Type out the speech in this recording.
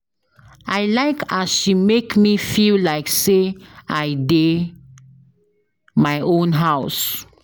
I like as she make me feel like sey I dey my own house.